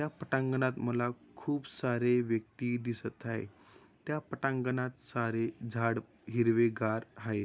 या पटांगणात खूप सारे व्यक्ति दिसत आहे. त्या पटांगणात सारे झाड हिरवेगार आहे.